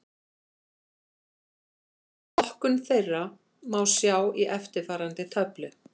Flokkun þeirra má sjá í eftirfarandi töflu: